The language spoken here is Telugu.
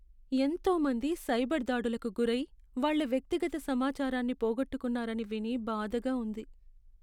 ఎంతో మంది సైబర్ దాడులకు గురై, వాళ్ళ వ్యక్తిగత సమాచారాన్ని పోగొట్టుకున్నారని విని బాధగా ఉంది.